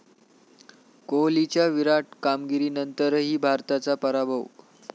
कोहलीच्या 'विराट' कामगिरीनंतरही भारताचा पराभव